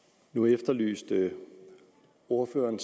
nu efterlyste ordføreren